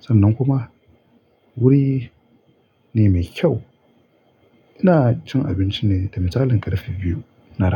Sannan kuma wuri ne mai kyau. Ina cin abinci ne da misalin ta karfi biyu na rana.